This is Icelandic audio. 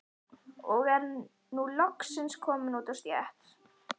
Og er nú loksins kominn út á stétt.